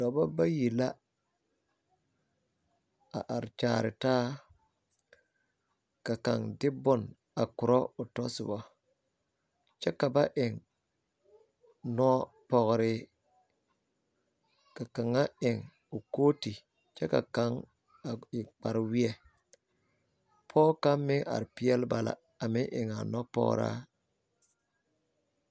Dɔbɔ bayi la are kyaare taa kyɛ ka kaŋ de bon a korɔ o ta soba. Ba eŋla nɔpɔgre kyɛ ka kaŋ su kootu kyɛ kaŋ e kpareweɛ. Pɔge kaŋ meŋ are peɛle ba la kyɛ meŋ eŋ nɔpɔgraa.